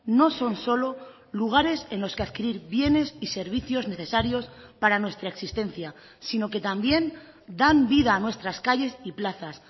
no son solo lugares en los que adquirir bienes y servicios necesarios para nuestra existencia sino que también dan vida a nuestras calles y plazas